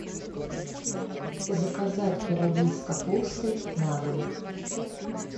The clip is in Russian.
заказать пироги с капустой на дом